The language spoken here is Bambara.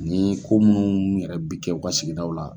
Ni ko minnu yɛrɛ bɛ kɛ u ka sigidaw la.